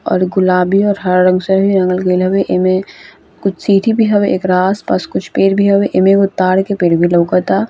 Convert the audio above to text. और गुलाबी और हरा रंग से रंगल गेल हवे | इमे कुछ चींटी भी हवे एकरा आसपास कुछ पेड़ भी हवे | एमे एगो तार के पेड़ भी लउकता |